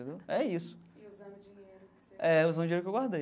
É isso. E usando o dinheiro que você... É, usando o dinheiro que eu guardei.